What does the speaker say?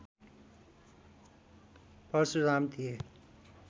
परशुराम थिए